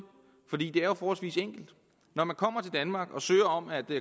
er jo forholdsvis enkelt når man kommer til danmark og søger om at